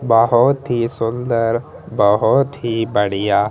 बहोत ही सुंदर बहोत ही बढ़िया --